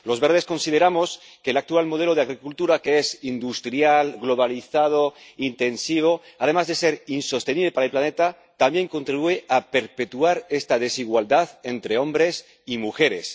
Los Verdes consideramos que el actual modelo de agricultura, que es industrial, globalizado e intensivo, además de ser insostenible para el planeta también contribuye a perpetuar esta desigualdad entre hombres y mujeres.